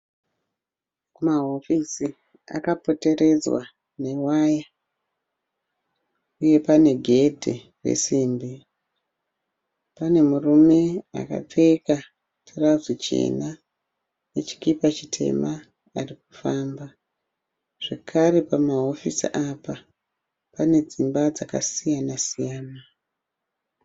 Kumahofisi akapoteredzwa newaya uye pane gedhi resimbi. Pane murume akapfeka tirauzi chena nechikipa chitema arikufamba zvekare pamahofisi apa pane dzimba dzakasiyana siyana.